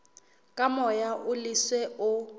ke moya o leswe o